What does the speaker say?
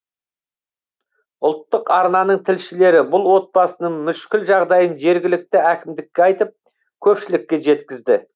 ұлттық арнаның тілшілері бұл отбасының мүшкіл жағдайын жергілікті әкімдікке айтып көпшілікке жеткізді